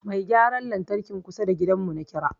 Mai gyaran lantrakin kusa da gidan mu na kira